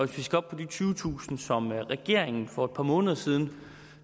vi skal op på de tyvetusind som er regeringen for et par måneder siden